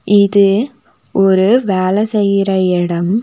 இது ஒரு வேல செய்யற எடம்.